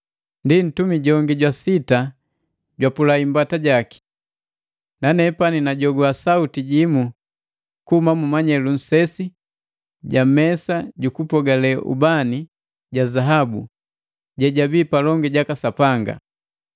Ndi, ntumi jongi jwa sita jwapula imbata jaki. Nanepani najogwa sauti jimu kuhuma mu manyelu nsesi ga mesa jukupiki jukupogale ubani ja zaabu je jabii palongi jaka Sapanga.